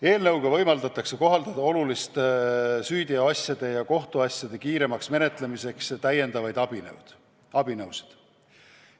Eelnõuga võimaldatakse oluliste süüteoasjade ja kohtuasjade kiiremaks menetlemiseks kohaldada lisaabinõusid.